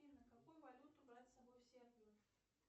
афина какую валюту брать с собой в сербию